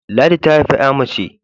Ladi ta haifi 'ya mace